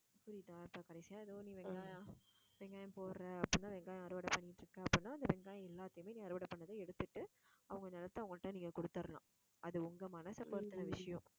புரியுதா கடைசியா ஏதோ ஒண்ணு வெங்காயம் போடுற அப்படின்னா வெங்காயம் அறுவடை பண்ணிட்டு இருக்க அப்படின்னா அந்த வெங்காயம் எல்லாத்தையுமே நீ அறுவடை பண்ணதை எடுத்துட்டு, அவங்க நிலத்தை அவங்க கிட்ட நீங்க கொடுத்திடலாம் அது உங்க மனச பொறுத்துன விஷயம்